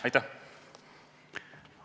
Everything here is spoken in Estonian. Aitäh!